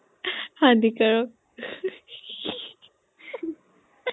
হানিকাৰক